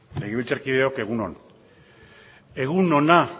legebiltzarkideok egun on egun ona